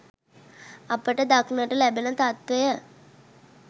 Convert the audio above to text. අපට දක්නට ලැබෙන තත්ත්වය